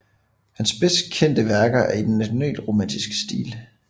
Hans bedst kendte værker er i den nationalromatiske stil